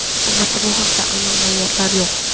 Albatta, bu haqda aniq ma’lumotlar yo‘q.